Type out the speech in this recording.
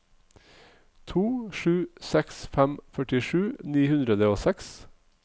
to sju seks fem førtisju ni hundre og seks